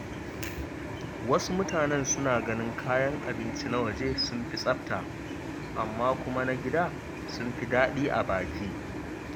Wasu mutanen suna ganin kayan abinci na waje sun fi tsafta, amma kuma na gida sun fi daɗi a baki.